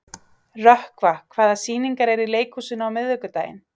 Rökkva, hvaða sýningar eru í leikhúsinu á miðvikudaginn?